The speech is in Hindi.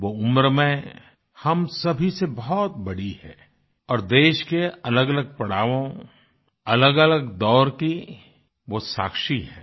वो उम्र में हम सभी से बहुत बड़ी हैं और देश के अलगअलग पड़ावों अलगअलग दौर की वो साक्षी हैं